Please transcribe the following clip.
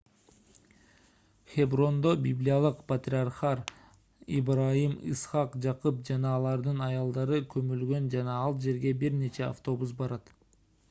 хеброндо библиялык патриархтар ыбрайым ыскак жакып жана алардын аялдары көмүлгөн жана ал жерге бир нече автобус барат